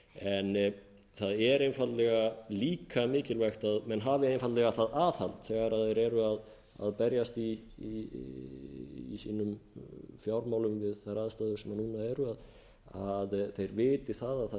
þessu efni það er einfaldlega líka mikilvægt að menn hafi einfaldlega það aðhald þegar þeir eru að berjast í sínum fjármálum við þær aðstæður sem núna eru að þeir viti